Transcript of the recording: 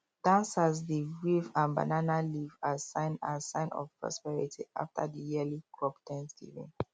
dancers dey wave um banana leaf as sign as sign of prosperity after the yearly crop thanksgiving